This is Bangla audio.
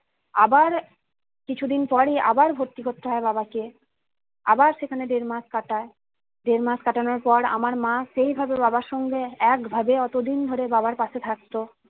আবার কিছুদিন পরই আবার ভর্তি করতে হয় বাবাকে আবার সেখানে দেড় মাস কাটায় দেড় মাস কাটানোর পর আমার মা সেভাবে বাবার সঙ্গে একভাবে অতদিন ধরে বাবার পাশে থাকতো